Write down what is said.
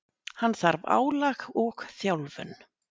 Hann þarf álag og þjálfun.